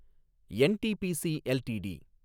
NTPC LTD